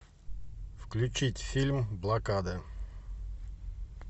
включить фильм блокада